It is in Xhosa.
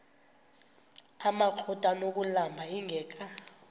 amakrot anokulamla ingeka